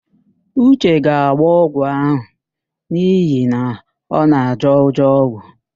Uche ga-agbọ ọgwụ ahụ n'ihi na ọ na-ajọ ụjọ ọgwụ,